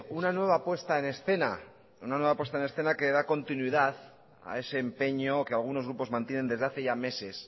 una nueva puesta en escena una nueva puesta en escena que da continuidad a ese empeño que algunos grupos mantienen desde hace ya meses